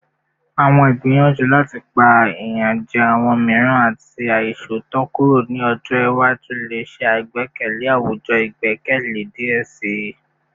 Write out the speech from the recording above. Awọn igbiyanju lati pa iyanjẹ awọn miiran ati aiṣootọ kuro ni ọjọ iwaju le ṣe agbekalẹ awujọ igbẹkẹle diẹ sii